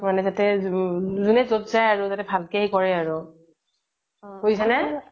মানে জোনে য্'ত যাই আৰু জাতে ভালকে সেই কৰে আৰু বুজিছা নে